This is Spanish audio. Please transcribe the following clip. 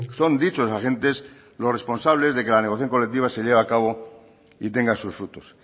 son dichos agentes los responsables de que la negociación colectiva se lleve a cabo y tenga sus frutos